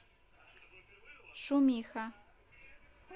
шумиха